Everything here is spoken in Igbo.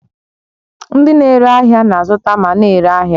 Ndị na-ere ahịa na-azụta ma na-ere n'ahịa